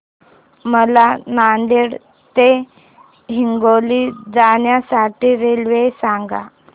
मला नांदेड ते हिंगोली जाण्या साठी रेल्वे सांगा